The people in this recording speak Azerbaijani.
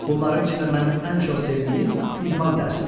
Bunların içində mənim ən çox sevdiyim idman dərsidir.